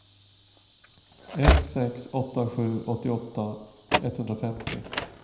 ett sex åtta sju åttioåtta etthundrafemtio